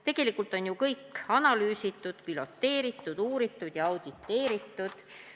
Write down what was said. Tegelikult on ju kõik analüüsitud, piloteeritud, uuritud ja auditeeritud.